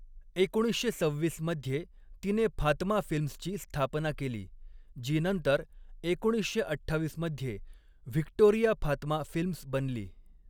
एकोणीसशे सव्हीस मध्ये तिने फातमा फिल्म्सची स्थापना केली, जी नंतर एकोणीसशे अठ्ठावीस मध्ये व्हिक्टोरिया फातमा फिल्म्स बनली.